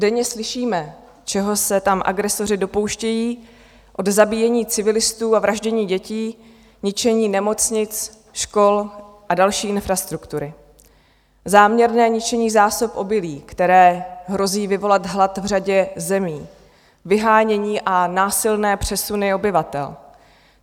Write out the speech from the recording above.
Denně slyšíme, čeho se tam agresoři dopouštějí, od zabíjení civilistů a vraždění dětí, ničení nemocnic, škol a další infrastruktury, záměrné ničení zásob obilí, které hrozí vyvolat hlad v řadě zemí, vyhánění a násilné přesuny obyvatel.